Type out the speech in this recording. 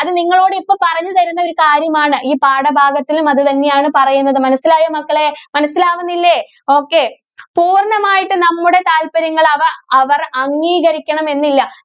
അത് നിങ്ങളോട് ഇപ്പം പറഞ്ഞു തരുന്ന ഒരു കാര്യമാണ്. ഈ പാഠഭാഗത്തിലും അത് തന്നെയാണ് പറയുന്നത്. മനസ്സിലായോ മക്കളേ? മനസ്സിലാവുന്നില്ലേ, okay. പൂര്‍ണ്ണമായിട്ടും നമ്മുടെ താല്പര്യങ്ങള്‍ അവ~അവര്‍ അംഗീകരിക്കണമെന്നില്ല.